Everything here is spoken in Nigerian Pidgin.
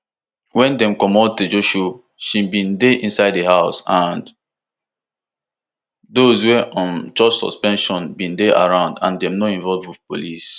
wen dem comot tejusho she bin dey inside di house and those wey um chop suspension dem bin dey around and dem no involve police